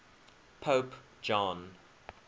pope john